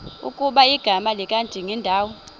ukuba igama likadingindawo